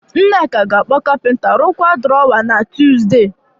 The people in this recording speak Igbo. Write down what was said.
Nneka ga-akpọ capenter rụkwaa drawer na Tuesday